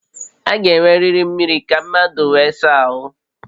A ga-enweriri mmiri ka mmadụ wee saa ahụ